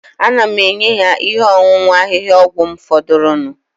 Ana m enye ya ihe ọṅụṅụ ahịhịaọgwụ m fọdụrụnụ